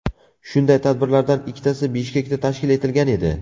Shunday tadbirlardan ikkitasi Bishkekda tashkil etilgan edi.